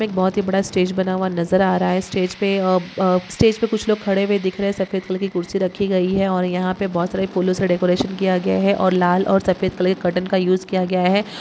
एक बहुत ही बड़ा स्टेज बना हुआ नज़र आ रहा है स्टेज पे-- अब--अ-- स्टेज पे कुछ लोग खड़े हुए दिख रहे हैं सफ़ेद कलर की कुर्सी रखी हुईं है और यहाँ यहाँ पे बहुत सारे फूलों से डेकोरेशन किया गया है और लाल और सफेद कलर के कर्टन का यूज़ किया गया है।